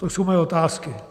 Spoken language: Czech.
To jsou moje otázky.